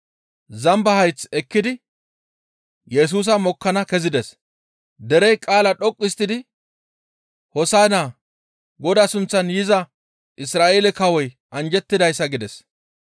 Zamba hayth ekkidi Yesusa mokkana kezides; derey qaala dhoqqu histtidi, «Hoosa7inna! Godaa sunththan yiza Isra7eele kawoy anjjettidayssa!» gides.